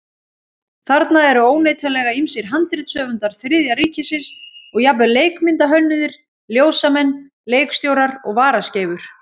Þarna eru óneitanlega ýmsir handritshöfundar Þriðja ríkisins og jafnvel leikmyndahönnuðir, ljósamenn, leikstjórar og varaskeifur.